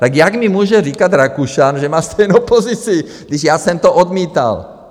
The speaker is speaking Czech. Tak jak mi může říkat Rakušan, že má stejnou pozici, když já jsem to odmítal?